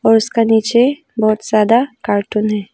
और उसका नीचे बहुत ज्यादा कार्टून है।